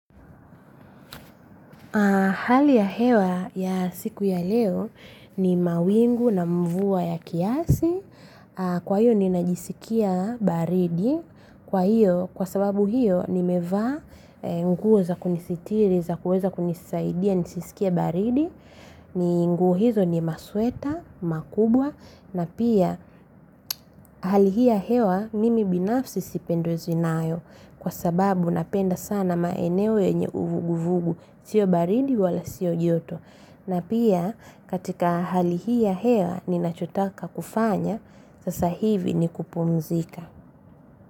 Hali ya hewa ya siku ya leo ni mawingu na mvua ya kiasi. Kwa hiyo ninajisikia baridi. Kwa hiyo, kwa sababu hiyo nimevaa nguo za kunisitiri, za kuweza kunisaidia, nisisikie baridi. Nguo hizo ni masweta, makubwa na pia hali hii ya hewa mimi binafsi sipendezwi nayo kwa sababu napenda sana maeneo yenye uvuguvugu, sio baridi wala sio joto. Na pia katika hali hii ya hewa ninachotaka kufanya, sasa hivi ni kupumzika.